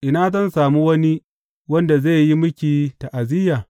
Ina zan sami wani wanda zai yi miki ta’aziyya?